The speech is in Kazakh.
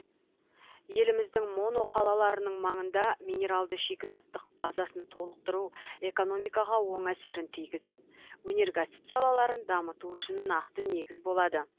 еліміздің моноқалаларының маңында минералды шикізаттық базасын толықтыру экономикаға оң әсерін тигізіп өнеркәсіп салаларын дамыту үшін нақты негіз болады